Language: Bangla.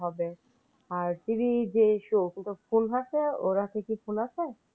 ওর হাতে কি phone আছে?